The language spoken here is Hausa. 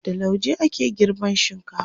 da lauje ake girban shinkafa